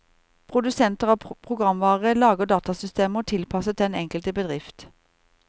Produsenter av programvare lager datasystemer tilpasset den enkelte bedrift.